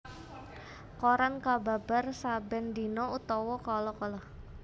Koran kababar saben dina utawa kala kala